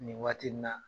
Nin waati nin na